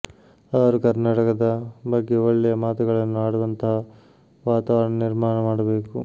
ಅವರು ಕರ್ನಾಟಕದ ಬಗ್ಗೆ ಒಳ್ಳೆಯ ಮಾತುಗಳನ್ನು ಆಡುವಂತಹ ವಾತಾವರಣ ನಿರ್ಮಾಣ ಮಾಡಬೇಕು